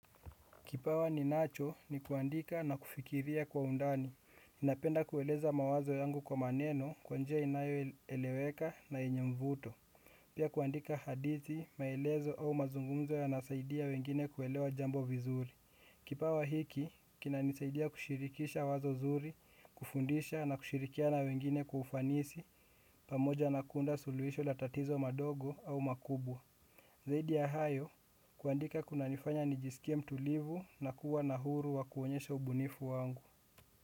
Kipawa ninacho ni kuandika na kufikiria kwa undani. Ninapenda kueleza mawazo yangu kwa maneno kwa njia inayoeleweka na yenye mvuto. Pia kuandika hadithi, maelezo au mazungumzo yanasaidia wengine kuelewa jambo vizuri. Kipawa hiki, kinanisaidia kushirikisha wazo zuri, kufundisha na kushirikiana na wengine kwa ufanisi, pamoja na kuunda suluhisho la tatizo madogo au makubwa. Zaidi ya hayo, kuandika kunanifanya nijisikie mtulivu na kuwa na huru wa kuonyesha ubunifu wangu.